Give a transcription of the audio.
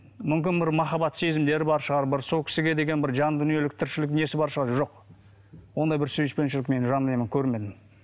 мүмкін бір махаббат сезімдері бар шығар бір сол кісіге деген бір жан дүниелік тіршілік несі бар шығар жоқ ондай бір сүйіспеншілік мен жанұяны көрмедім